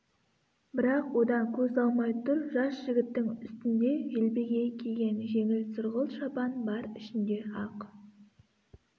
бірақ одан көз алмай тұр жас жігіттің үстінде желбегей киген жеңіл сұрғылт шапан бар ішінде ақ